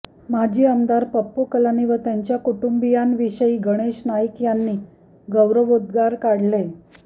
माजी आमदार पप्पू कलानी व त्यांच्या कुटुंबीयांविषयी गणेश नाईक यांनी गौरवोद्गार काढले